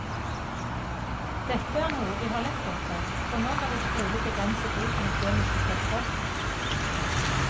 Dette er noe vi har lett etter, for nå kan vi trolig begrense bruken av kjemiske stoffer.